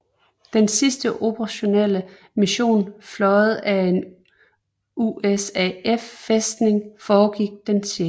Den sidste operationelle mission fløjet af en USAF Fæstning foregik den 6